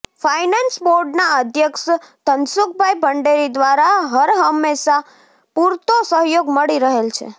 finance બોર્ડના અધ્યક્ષ ધનસુખભાઇ ભંડેરી દ્વારા હરહંમેશા પુરતો સહયોગ મળી રહેલ છે